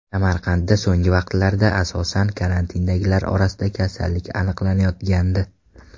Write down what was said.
Samarqandda so‘nggi vaqtlarda, asosan, karantindagilar orasida kasallik aniqlanayotgandi.